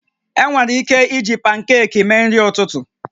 Enwere ike iji pankeekimee nri ụtụtụ